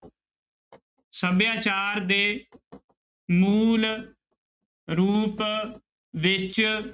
ਸਭਿਆਚਾਰ ਦੇ ਮੂਲ ਰੂਪ ਵਿੱਚ